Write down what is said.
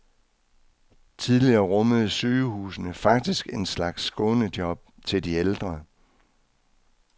Tidligere rummede sygehusene faktisk en slags skånejob til de ældre.